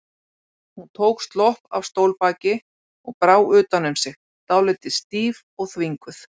Hún tók slopp af stólbaki og brá utan um sig, dálítið stíf og þvinguð.